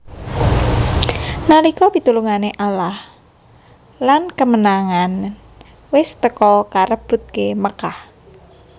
Nalika pitulunge Allah lan kemenangan wis teka karebute Makkah